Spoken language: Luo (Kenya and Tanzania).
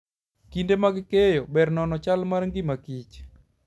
Kinde mag keyo, ber nono chal mar ngima kich